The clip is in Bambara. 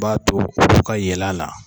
I b'a to olu ka yɛlɛ a la.